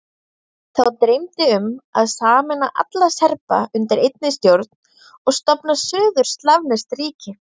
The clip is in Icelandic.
Þá dreymdi um að sameina alla Serba undir einni stjórn og stofna suður-slavneskt ríki.